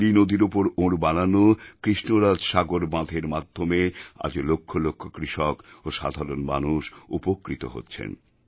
কাবেরী নদীর উপর ওঁর বানানো কৃষ্ণরাজাসাগর বাঁধের মাধ্যমে আজও লক্ষ লক্ষ কৃষক ও সাধারণ মানুষ উপকৃত হচ্ছেন